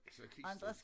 Ik så klistret